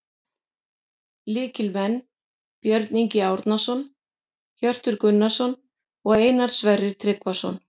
Lykilmenn: Björn Ingi Árnason, Hjörtur Gunnarsson og Einar Sverrir Tryggvason